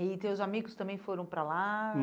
E teus amigos também foram para lá?